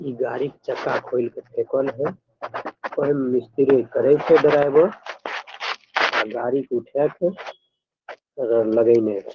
इ गाड़ी के चक्का खोल के फेकल हेय और गाड़ी के उठाय के लगे ने हेय।